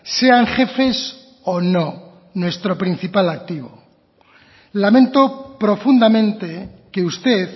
sean jefes o no nuestro principal activo lamento profundamente que usted